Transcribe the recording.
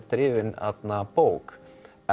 drifin bók